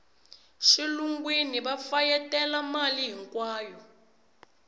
xilungwini va fayetela mali hinkwayo